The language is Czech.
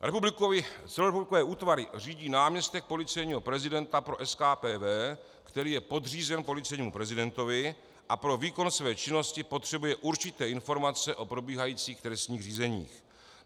Celorepublikové útvary řídí náměstek policejního prezidenta pro SKPV, který je podřízen policejnímu prezidentovi a pro výkon své činnosti potřebuje určité informace o probíhajících trestních řízeních.